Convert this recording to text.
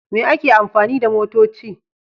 Me ake amfani da motoci?